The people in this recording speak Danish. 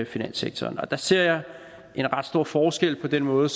finanssektoren og der ser jeg en ret stor forskel på den måde